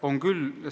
On küll.